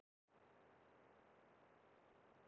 Þetta var annað tap liðsins í röð.